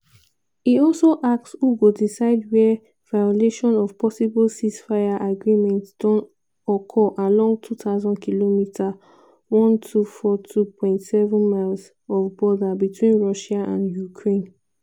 e also ask who go decide wia "violation of possible ceasefire agreement" don occur along 2000km (1242.7 miles) of border between russia and ukraine.